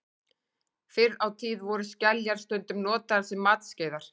Fyrr á tíð voru skeljar stundum notaðar sem matskeiðar.